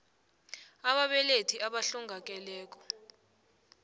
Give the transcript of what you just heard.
b ababelethi abahlongakele